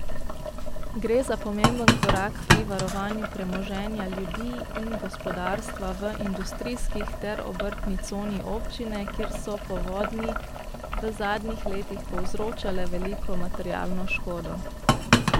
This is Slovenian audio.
Gre za pomemben korak pri varovanju premoženja ljudi in gospodarstva v industrijskih ter obrtni coni občine, kjer so povodnji v zadnjih letih povzročale veliko materialno škodo.